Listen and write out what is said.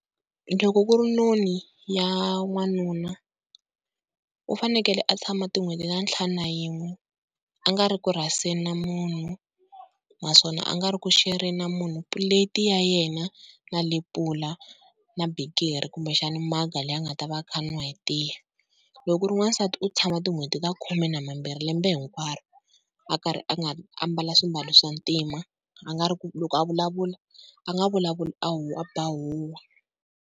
Loko ku ri noni ya n'wanuna u fanekele a tshama tin'hweti ta ntlhanu na yin'we a nga ri ku rhaseni na munhu, naswona a nga ri ku shereni na munhu plate ya yena na lepula na bikiri kumbexana maga leyi a nga ta va a kha a n'wa hi tiya. Loko ku ri wansati u tshama tin'hweti ta khume na mambirhi lembe hinkwaro, a karhi a nga a mbala swimbalo swa ntima a nga ri loko a vulavula a nga vulavuli a a ba huhwa.